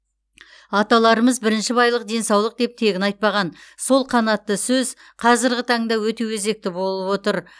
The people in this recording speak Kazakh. аталарымыз бірінші байлық денсаулық деп тегін айтпаған сол қанатты сөз қазіргі таңда өте өзекті болып отыр